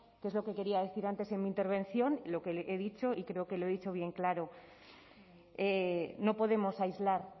que es lo que quería decir antes en mi intervención lo que le he dicho y creo que lo he dicho bien claro no podemos aislar